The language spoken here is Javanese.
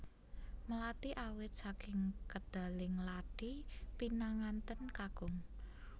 Melati awit saking kedaling lathi pinanganten kakung